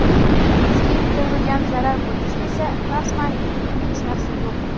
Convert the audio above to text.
Bizga yetkazilgan zarar bo‘yicha esa rasman hech narsa yo‘q.